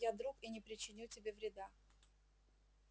я друг и не причиню тебе вреда